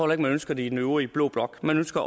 man ønsker det i den øvrige blå blok man ønsker